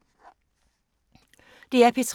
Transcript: DR P3